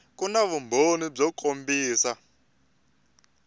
ku na vumbhoni byo kombisa